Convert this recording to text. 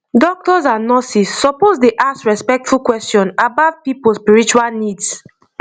doctors and nurses suppose dey ask respectful question about people spiritual needs